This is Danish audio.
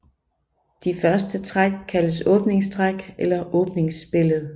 De første træk kaldes åbningstræk eller åbningsspillet